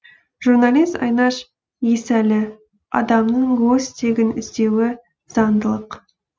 журналист айнаш есәлі адамның өз тегін іздеуі заңдылық